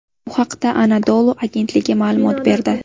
Bu haqda Anadolu agentligi ma’lumot berdi .